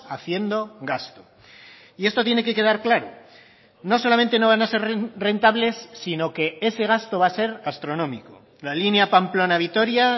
haciendo gasto y esto tiene que quedar claro no solamente no van a ser rentables sino que ese gasto va a ser astronómico la línea pamplona vitoria